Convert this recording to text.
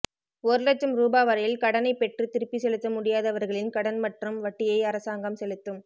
ஒரு இலட்சம் ரூபா வரையில் கடனைப் பெற்று திருப்பிச் செலுத்த முடியாதவர்களின் கடன் மற்றும் வட்டியை அரசாங்கம் செலுத்தும்